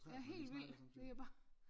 Ja helt vildt det er bare